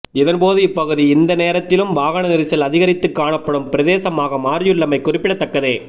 இதன் போது இப்பகுதி இந்த நேரத்திலும் வாகன நெறிசல் அதிகரித்து காணப்படும் பிரதேசமாக மாறியுள்ளமை குறிப்பிடத்தக்கது